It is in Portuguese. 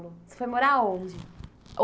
Você foi morar aonde?